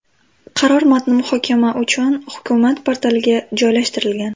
Qaror matni muhokama uchun hukumat portaliga joylashtirilgan.